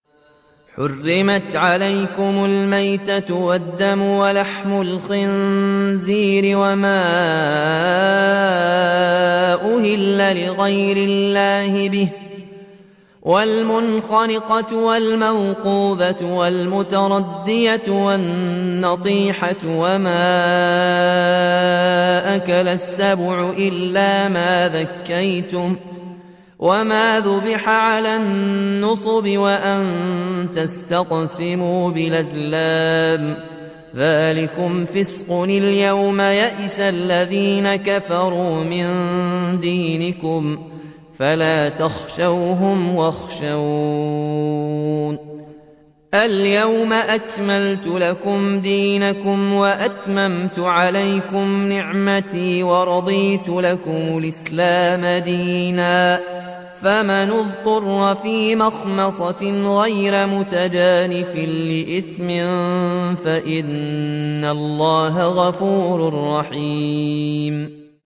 حُرِّمَتْ عَلَيْكُمُ الْمَيْتَةُ وَالدَّمُ وَلَحْمُ الْخِنزِيرِ وَمَا أُهِلَّ لِغَيْرِ اللَّهِ بِهِ وَالْمُنْخَنِقَةُ وَالْمَوْقُوذَةُ وَالْمُتَرَدِّيَةُ وَالنَّطِيحَةُ وَمَا أَكَلَ السَّبُعُ إِلَّا مَا ذَكَّيْتُمْ وَمَا ذُبِحَ عَلَى النُّصُبِ وَأَن تَسْتَقْسِمُوا بِالْأَزْلَامِ ۚ ذَٰلِكُمْ فِسْقٌ ۗ الْيَوْمَ يَئِسَ الَّذِينَ كَفَرُوا مِن دِينِكُمْ فَلَا تَخْشَوْهُمْ وَاخْشَوْنِ ۚ الْيَوْمَ أَكْمَلْتُ لَكُمْ دِينَكُمْ وَأَتْمَمْتُ عَلَيْكُمْ نِعْمَتِي وَرَضِيتُ لَكُمُ الْإِسْلَامَ دِينًا ۚ فَمَنِ اضْطُرَّ فِي مَخْمَصَةٍ غَيْرَ مُتَجَانِفٍ لِّإِثْمٍ ۙ فَإِنَّ اللَّهَ غَفُورٌ رَّحِيمٌ